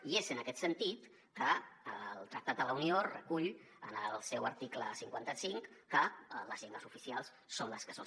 i és en aquest sentit que el tractat de la unió recull en el seu article cinquanta cinc que les llengües oficials són les que són